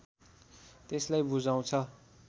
त्यसलाई बुझाउँछ